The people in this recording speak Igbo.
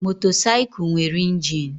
Motorcycle nwere injin.